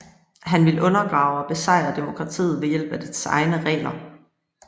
Han ville undergrave og besejre demokratiet ved hjælp af dets egne regler